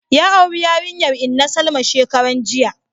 Ya auri yarinyar inna Salma shekaran jiya